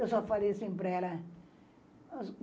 Eu só falei assim para ela.